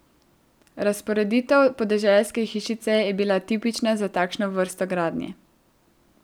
Razporeditev podeželske hišice je bila tipična za takšno vrsto gradnje.